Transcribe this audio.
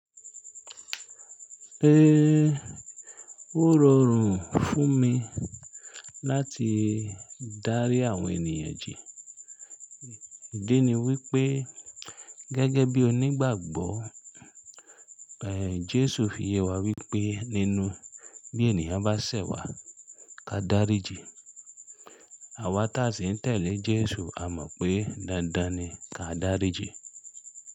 Ehn, ó rọrùn fún mi láti dárí àwọn ènìyàn jẹ́. Ìdí ni wípé gẹ́gẹ́ bí onígbàgbọ́, ehn Jesu fi yẹ wá wípé nínú bí ènìyàn bá ṣẹ̀ wá, ká dárí jìí. Àwa tí a sì ń tẹ̀lé Jesu a mọ̀ pé dandan ni ká dárí jìí.